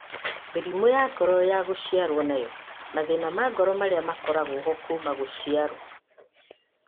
Mĩrimũ ya ngoro ya gũciarwo nayo; mathĩna ma ngoro marĩa makoragwo ho kuma gũciarwo